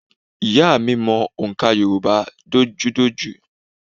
Ìyá à mi mọ òǹkà Yorùbá dojúdojú